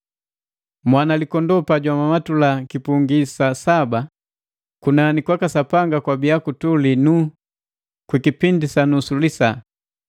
Mwanalikondoo pajwamamatula kipungi sa saba, kunani kwaka sapanga kwabia kutuli nuu kwikipindi sa nusu lisaa.